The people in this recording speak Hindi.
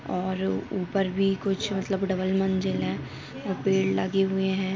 और उपर भी कुछ मतलब डबल मंजिल है और पेड़ लगे हुए हैं।